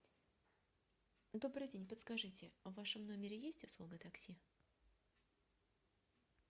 добрый день подскажите в вашем номере есть услуга такси